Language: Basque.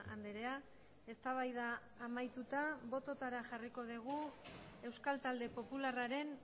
andrea eztabaida amaituta bototara jarriko dugu euskal talde popularraren